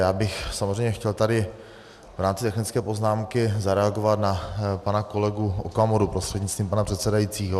Já bych samozřejmě chtěl tady v rámci technické poznámky zareagovat na pana kolegu Okamuru prostřednictvím pana předsedajícího.